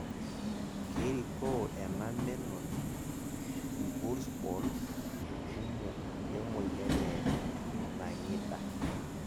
kerikoo ena menoti irbulsbol kumok le moyian e nangi'ida